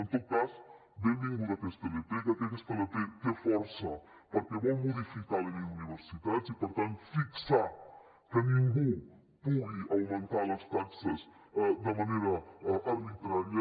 en tot cas benvinguda aquesta ilp crec que aquesta ilp té força perquè vol modificar la llei d’universitats i per tant fixar que ningú pugui augmentar les taxes de manera arbitrària